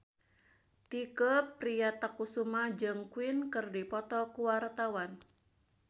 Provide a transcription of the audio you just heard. Tike Priatnakusuma jeung Queen keur dipoto ku wartawan